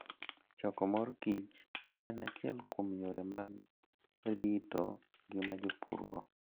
Choko mor kich en achiel kuom yore mag rito ngima jopurgo.